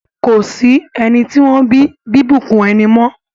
Ko sí ẹni tí wọ́n bí bíbùnkún ẹni mọ́.